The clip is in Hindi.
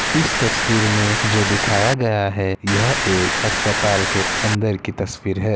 इस तस्वीर में जो दिखाया गया है यह एक आस्पताल के अंदर की तस्वीर है।